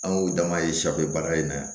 An y'o dama ye baara in na